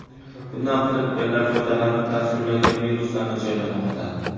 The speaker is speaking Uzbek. Bundan firibgarlar foydalanib, dasturlarga viruslarni joylamoqda.